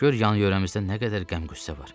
Gör yan-yörəmizdə nə qədər qəm-qüssə var.